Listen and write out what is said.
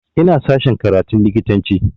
Ina sashen karatun likitanci